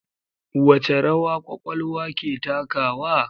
Wace rawa kwakwalwa ke takawa?